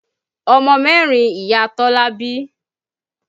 Ọmọ mẹ́rin Ìyá Tọ́lá bí.